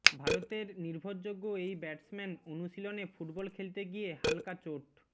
ভারতের নির্ভরযোগ্য এই ব্যাটসম্যান অনুশীলনে ফুটবল খেলতে গিয়ে হালকা চোট